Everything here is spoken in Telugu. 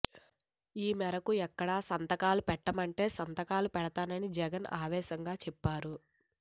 ఈ మేరకు ఎక్కడ సంతకాలు పెట్టమంటే సంతకాలు పెడతానని జగన్ ఆవేశంగా చెప్పారు